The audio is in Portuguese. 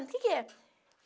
O que que é?